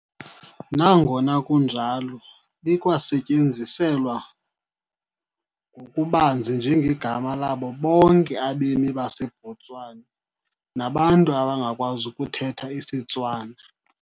Nangona kunjalo, likwasetyenziselwa ngokubanzi njengegama labo bonke abemi baseBotswana nabantu abangakwazi ukuthetha isiTswana.